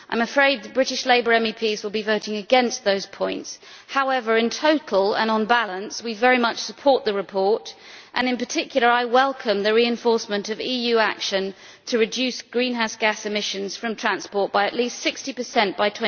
I am afraid the British Labour MEPs will be voting against those points. However, in total and on balance, we very much support the report, and I welcome in particular the reinforcement of EU action to reduce greenhouse gas emissions from transport by at least 60 by